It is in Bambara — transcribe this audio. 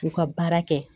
U ka baara kɛ